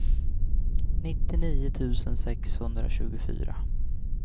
nittionio tusen sexhundratjugofyra